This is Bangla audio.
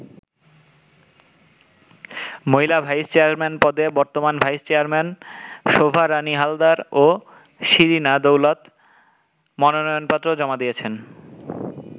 মহিলা ভাইস চেয়ারম্যান পদে বর্তমান ভাইস চেয়ারম্যান শোভা রাণী হালদার ও শিরিনা দৌলত মনোনয়নপত্র জমা দিয়েছেন।